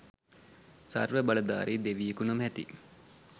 සර්ව බලධාරි දෙවියකු නොමැති